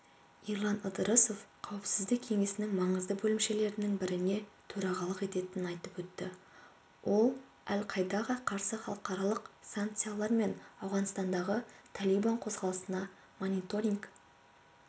ерлан ыдырысов қауіпсіздік кеңесінің маңызды бөлімшелерінің біріне төрағалық ететінін айтып өтті ол әл-каидаға қарсы халықаралық санкциялар мен ауғанстандағы талибан қозғалысына мониторинг